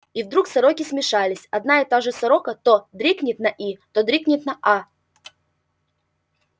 и вдруг сороки смешались одна и та же сорока то дрикнет на и то дрикнет на а